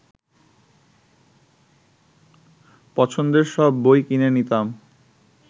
পছন্দের সব বই কিনে নিতাম